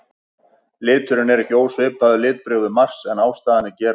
Liturinn er ekki ósvipaður litbrigðum Mars en ástæðan er gerólík.